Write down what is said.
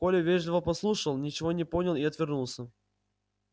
коля вежливо послушал ничего не понял и отвернулся